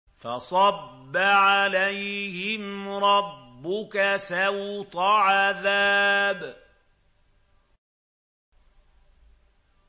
فَصَبَّ عَلَيْهِمْ رَبُّكَ سَوْطَ عَذَابٍ